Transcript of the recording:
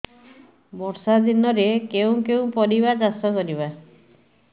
ବର୍ଷା ଦିନରେ କେଉଁ କେଉଁ ପରିବା ଚାଷ କରିବା